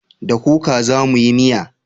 Da kuka za mu yi miya